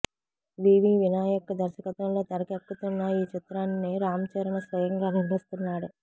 వివి వినాయక్ దర్శకత్వంలో తెరకెక్కుతున్న ఈ చిత్రాన్ని రామ్చరణ్ స్వయంగా నిర్మిస్తున్నాడు